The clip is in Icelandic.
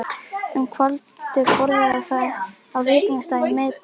Um kvöldið borðuðu þau á veitingastað í miðbænum.